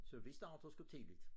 Så vi starter sgu tidligt